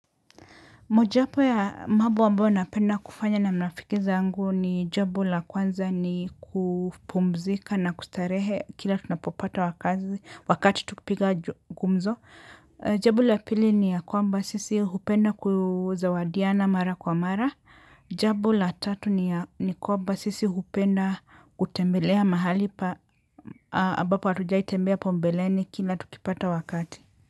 Moja wapo ya mambo ambayo napenda kufanya na marafiki zangu ni jambo la kwanza ni kupumzika na kustarehe kila tunapopata wakati tukipiga gumzo. Jambo la pili ni ya kwamba sisi hupenda kuzawadiana mara kwa mara. Jambo la tatu ni ya kwamba sisi hupenda kutembelea mahali ambapo hatujai tembea hapo mbeleni kila tukipata wakati.